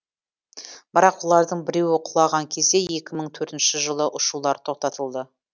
бірақ олардың біреуі құлаған кезде екі мың төртінші жылы ұшулар тоқтатылды